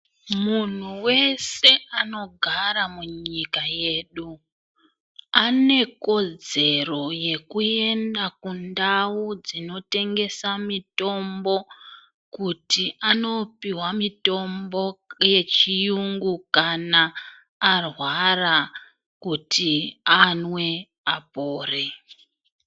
Muntu weshe anogara munyika yedu ane kodzero yekuenda kundau dzinotengesa mitombo kuti anopihwa mitombo yechiyungu kana arwara kuti anwe apore.